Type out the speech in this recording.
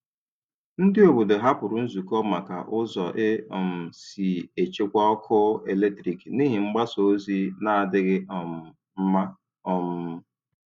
Ndị obodo hapụrụ nzukọ maka ụzọ e um si echekwa ọkụ eletrik n'ihi mgbasa ozi n'adịghị um mma. um